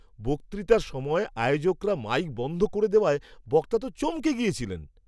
বক্তৃতার সময় আয়োজকরা মাইক বন্ধ করে দেওয়ায় বক্তা তো চমকে গিয়েছিলেন!